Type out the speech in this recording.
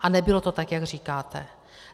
A nebylo to tak, jak říkáte.